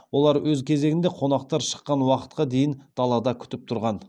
олар өз кезегінде қонақтар шыққан уақытқа дейін далада күтіп тұрған